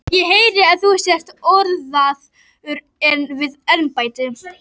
Ég heyri að þú sért orðaður við embættið.